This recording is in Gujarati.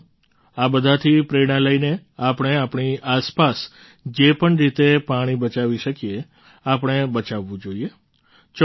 સાથીઓ આ બધાથી પ્રેરણા લઈને આપણે આપણી આસપાસ જે પણ રીતે પાણી બચાવી શકીએ આપણે બચાવવું જોઈએ